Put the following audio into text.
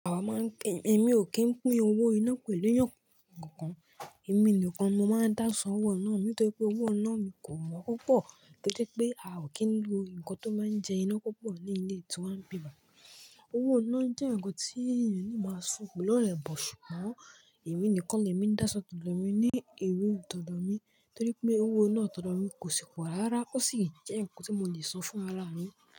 Àwa máa ń pè é, èmi ò kí ń pín owó iná pẹ̀lú èèyàn kankan. Èmi nìkan ni mo máa ń dáṣọ owó iná, nítorí pé owó iná mi kò wọ́pọ̀, torí pé pé a ò kí ń lo nǹkan tó máa ń jẹ iná púpọ̀ ní ilé tí wàá ń bímọ. Owó iná jẹ́ nǹkan tí èèyàn le máa san pèlọ́rẹ̀ẹ́ but, ṣùgbọ́n èmi nìkan ni èmi ń dáṣan tọ́dọ́ mi ní a room tọ́dọ́ mi, torí pé owó iná tọ́dọ́ mi kò sì pọ̀ rárá, ó sì jẹ́ nǹkan tí mo le san fún alárin.